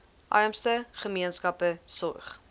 armste gemeenskappe sorg